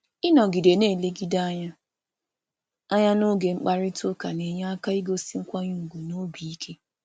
Ịnọgide na-enwe mmekọ anya mmekọ anya n’oge mkparịta ụka na-enyere aka igosi nkwanye ùgwù na ntụkwasị obi.